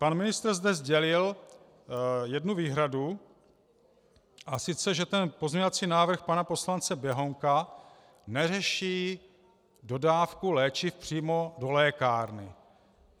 Pan ministr zde sdělil jednu výhradu, a sice že ten pozměňovací návrh pana poslance Běhounka, neřeší dodávku léčiv přímo do lékárny.